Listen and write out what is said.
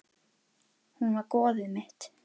Hún var goðið mitt.